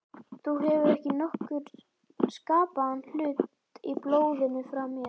Þú hefur ekki nokkurn skapaðan hlut í blóðinu frá mér.